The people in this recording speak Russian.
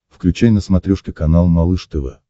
включай на смотрешке канал малыш тв